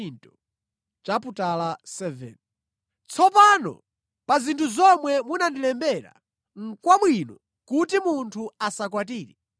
Tsopano pa zinthu zomwe munandilembera nʼkwabwino kuti munthu asakwatire.